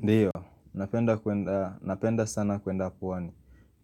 Ndio, napenda sana kwenda pwani,